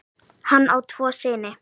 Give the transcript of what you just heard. Hann á tvo syni.